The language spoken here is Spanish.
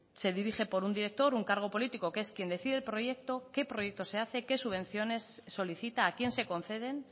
se dirige por un director un cargo político que es quién decide el proyecto qué proyecto se hace qué subvenciones solicita a quién se conceden